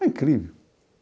É incrível.